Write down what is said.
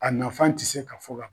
A nafan te se ka fɔ ban.